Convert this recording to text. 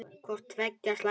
Hvort tveggja er slæmt.